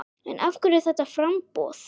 En af hverju þetta framboð?